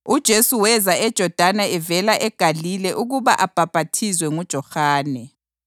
UJesu weza eJodani evela eGalile ukuba abhaphathizwe nguJohane.